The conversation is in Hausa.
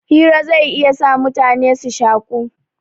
Hira zai iya sa mutane su shaku